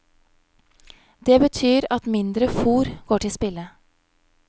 Det betyr at mindre fôr går til spille.